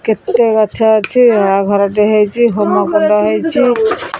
କେତେ ଗଛ ଅଛି ଆଉ ଘରଟେ ହେଇଚି ହୋମକୁଣ୍ଡ ହେଇଚି।